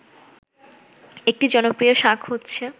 একটি জনপ্রিয় শাক হচ্ছে